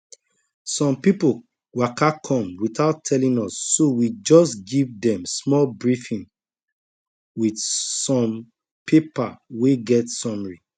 some people waka come without telling us so we just give dem small briefing with some paper wey get summary